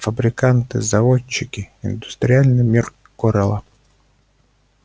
фабриканты заводчики индустриальный мир корела